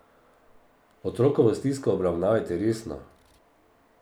Otrokovo stisko obravnavajte resno.